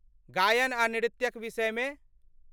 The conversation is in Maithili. गायन आ नृत्यक विषयमे?